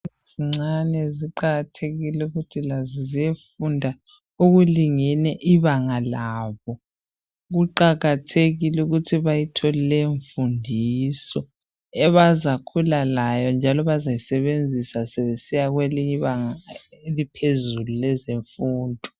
Ezincane ziqakathekile ukuthi lazo ziyefunda okulingene ibanga labo. Kuqakathekile ukuthi bayithole leyo mfundiso abazakhula layo njalo abazayisebenzisa sebesiya kwelinye ibanga eliphezulu lezemfundo.